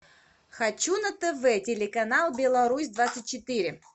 хочу на тв телеканал беларусь двадцать четыре